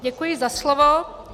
Děkuji za slovo.